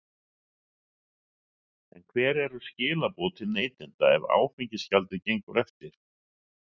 En hver eru skilaboð til neytenda ef áfengisgjaldið gengur eftir?